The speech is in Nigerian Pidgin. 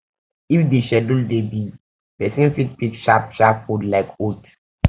if di schedule dey busy person fit pick sharp sharp food like oat